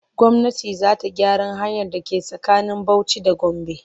Gwamnati za ta gyaran hanyar da ke tsakanin Bauci da Gombe.